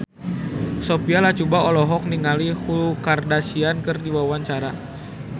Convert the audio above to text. Sophia Latjuba olohok ningali Khloe Kardashian keur diwawancara